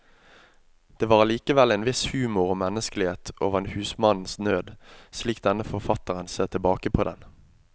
Det var allikevel en viss humor og menneskelighet over husmannens nød, slik denne forfatteren ser tilbake på den.